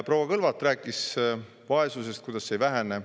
Proua Kõlvart rääkis vaesusest,, et see ei vähene.